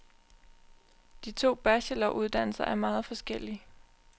De to bacheloruddannelser er meget forskellige.